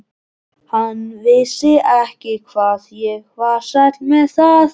Hann vissi ekki hvað ég var sæll með það.